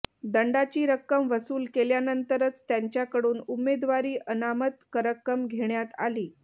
दंडाची रक्कम वसूल केल्यानंतरच त्यांच्याकडून उमेदवारी अनामत रक्कम घेण्यात आली